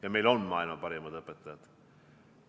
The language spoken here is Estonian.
Ja meil on maailma parimad õpetajad.